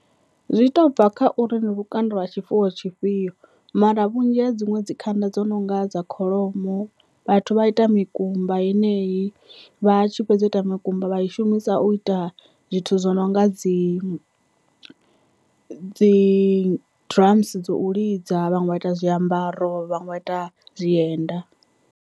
Zwi to bva kha uri lukanda lwa tshifuwo tshifhio mara vhunzhi ha dziṅwe dzi khanda dzo nonga dza kholomo vhathu vha ita mikumba yeneyi vha tshi fhedza u ita makumba vha manzhi i shumisa u ita zwithu zwo no nga dzi dzi drums dzo u lidza, vhaṅwe vha ita zwiambaro, vhaṅwe vha ita zwienda.